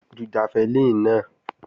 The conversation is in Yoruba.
Ju jafẹlíìnì náà!